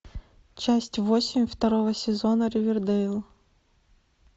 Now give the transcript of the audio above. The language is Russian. часть восемь второго сезона ривердейл